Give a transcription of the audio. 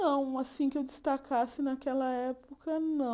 Não, assim que eu destacasse naquela época, não.